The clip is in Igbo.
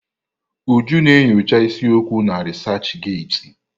Uju na enyocha isi okwu na resachị getị.